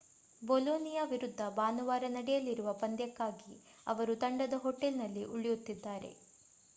Bologna ವಿರುದ್ಧ ಭಾನುವಾರ ನಡೆಯಲಿರುವ ಪಂದ್ಯಕ್ಕಾಗಿ ಅವರು ತಂಡದ ಹೋಟೆಲ್‌ನಲ್ಲಿ ಉಳಿಯುತ್ತಿದ್ದಾರೆ